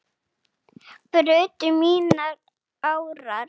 brutu mínar árar